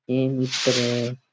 Train दिख रेया है।